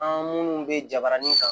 An minnu bɛ jabanin kan